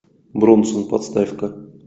бронсон поставь ка